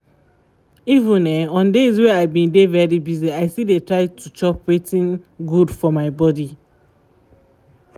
even um on days wey i been dey very busy i still dey try to chop wetin good for my body